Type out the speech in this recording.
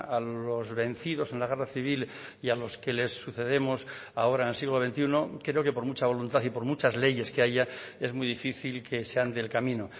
a los vencidos en la guerra civil y a los que les sucedemos ahora en el siglo veintiuno creo que por mucha voluntad y por muchas leyes que haya es muy difícil que se ande el camino